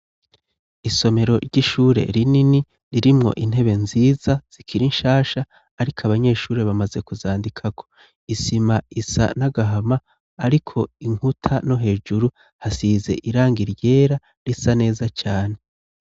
Isomero ry'ishure rinini ririmwo intebe nziza zikira inshasha, ariko abanyeshure bamaze kuzandikako isima isa n'agahama, ariko inkuta no hejuru hasize iranga iryera risa neza cane.